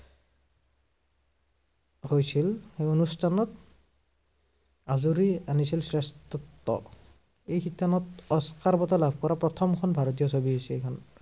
হৈছিল অনুষ্ঠানত আঁজুৰি আনিছিল শ্ৰেষ্ঠত্ব। এই শিতানত অস্কাৰ বঁটা লাভ কৰা প্ৰথমখন ভাৰতীয় ছবি হৈছে এইখন।